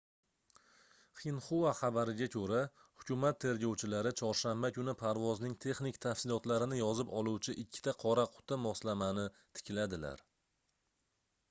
xinhua xabariga koʻra hukumat tergovchilari chorshanba kuni parvozning texnik tafsilotlarini yozib oluvchi ikkita qora quti moslamani tikladilar